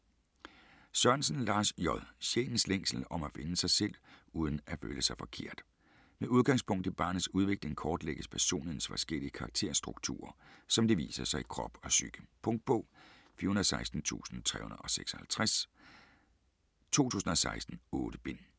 Sørensen, Lars J.: Sjælens længsel: om at finde sig selv uden at føle sig forkert Med udgangspunkt i barnets udvikling kortlægges personlighedens forskellige karakterstrukturer som de viser sig i krop og psyke. Punktbog 416356 2016. 8 bind.